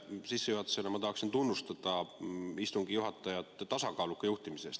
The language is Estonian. Sissejuhatusena ma tahaksin tunnustada istungi juhatajat tasakaaluka juhtimise eest.